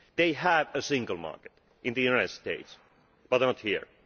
They have a single market in the United States but not here.